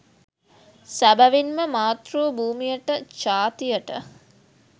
සැබවින්ම මාතෘ භූමියට ජාතියට